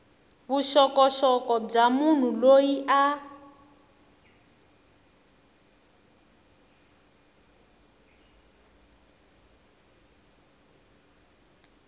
vuxokoxoko bya munhu loyi a